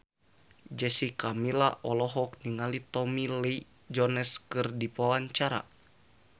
Jessica Milla olohok ningali Tommy Lee Jones keur diwawancara